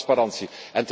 Totale transparantie.